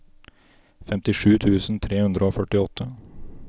femtisju tusen tre hundre og førtiåtte